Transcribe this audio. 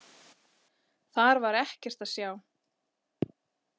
Þar var ekkert að sjá.